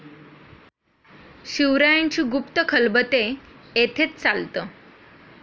शिवरायांची गुप्त खलबते येथेच चालत.